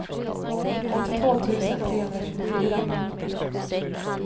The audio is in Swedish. åttiotvå tusen trehundratjugofyra